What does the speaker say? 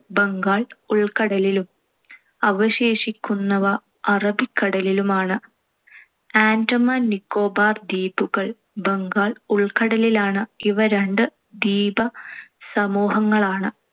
ബംഗാൾ ഉൾക്കടലിലും അവശേഷിക്കുന്നവ അറബിക്കടലിലുമാണ്‌. ആൻഡമാൻ നിക്കോബാർ ദ്വീപുകൾ ബംഗാൾ ഉൾക്കടലിലാണ്‌. ഇവ രണ്ട് ദ്വീപസമൂഹങ്ങളാണ്‌.